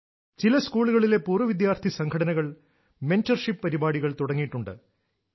ചില സ്കൂളുകളിലെ പൂർവ വിദ്യാർഥി സംഘടനകൾ മെന്റെർഷിപ്പ് പരിപാടികൾ തുടങ്ങിയിട്ടുണ്ട്